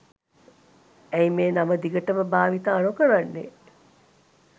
ඇයි මේ නම දිගටම භාවිතා නොකරන්නේ?